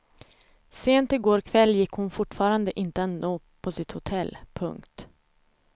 Sent i går kväll gick hon fortfarande inte att nå på sitt hotell. punkt